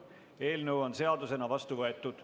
Eelnõu on seadusena vastu võetud.